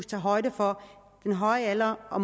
tage højde for den høje alder og